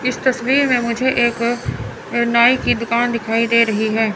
इस तस्वीर में मुझे एक नाई की दुकान दिखाई दे रही है।